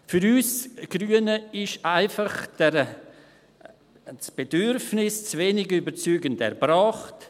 Für uns Grüne ist einfach das Bedürfnis zu wenig überzeugend erbracht.